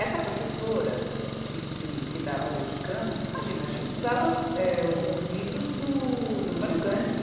Essa professora que, que, que dava Haroldo de Campos, imagina, a gente estudava eh, os livros do, do Antonio Candido.